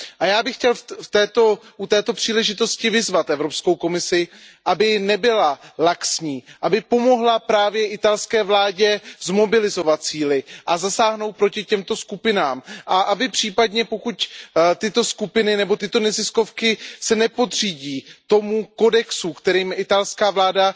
Já bych chtěl u této příležitosti vyzvat Evropskou komisi, aby nebyla laxní, aby pomohla právě italské vládě zmobilizovat síly a zasáhnout proti těmto skupinám a případně, pokud se tyto skupiny nebo neziskové organizace nepodřídí tomu kodexu, kterým je italská vláda